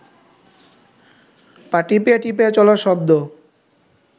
পা টিপিয়া টিপিয়া চলার শব্দ